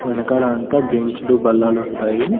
వెనకాల అంతా బెంచ్ లు బల్లల ఉంటాయి.